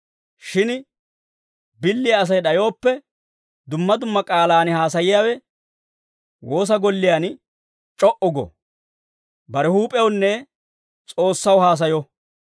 Shin billiyaa Asay d'ayooppe, dumma dumma k'aalaan haasayiyaawe woosa golliyaan c'o"u go. Bare huup'ewunne S'oossaw haasayo.